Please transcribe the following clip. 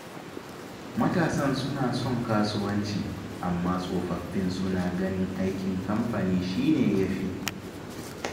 Matasan suna son kasuwanci, amma tsofaffin suna ganin aikin kamfani shi ne ya fi.